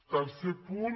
tercer punt